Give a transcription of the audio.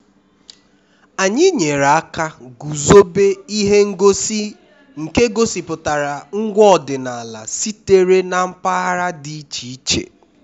anyị nyere aka guzobe ihe ngosi nke gosipụtara ngwa ọdịnala sitere na mpaghara dị iche iche